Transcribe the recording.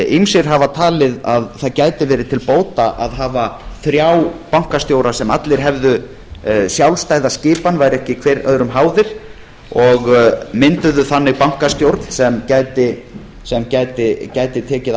ýmsir hafa talið að það gæti verið til bóta að hafa þrjá bankastjóra sem allir hefðu sjálfstæða skipan væru ekki hver öðrum háðir og mynduðu þannig bankastjórn sem gæti árið